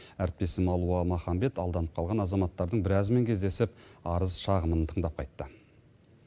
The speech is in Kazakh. әріптесім алуа маханбет алданып қалған азаматтардың біразімен кездесіп арыз шағымын тыңдап қайтты